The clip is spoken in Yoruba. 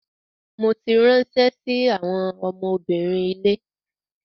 Mo ti ránṣẹ́ sí àwọn ọmọbìnrin ilé.